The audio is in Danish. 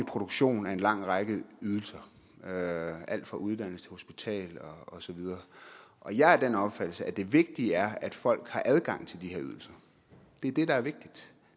produktion af en lang række ydelser alt fra uddannelse til hospital osv og jeg er af den opfattelse at det vigtige er at folk har adgang til de her ydelser det er det der er vigtigt